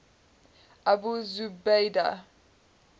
abu zubaydah